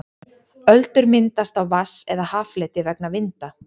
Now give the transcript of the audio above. öldur myndast á vatns eða haffleti vegna vinda